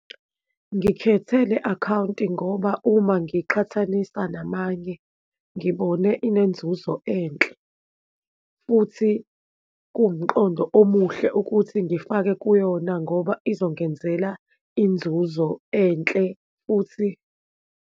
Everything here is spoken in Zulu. Ngikhethe le akhawunti ngoba uma ngiqhathanisa namanye ngibone inzuzo enhle, futhi kuwumqondo omuhle ukuthi ngifake kuyona ngoba izongenzela inzuzo enhle, futhi.